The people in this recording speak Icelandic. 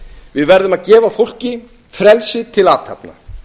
við verðum að gefa fólki frelsið til athafna